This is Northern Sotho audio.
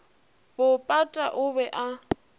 bo pata o be a